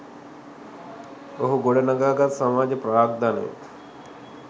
ඔහු ගොඩ නඟා ගත් සමාජ ප්‍රාග්ධනය